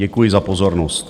Děkuji za pozornost.